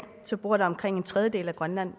så bor der omkring en tredjedel af grønlands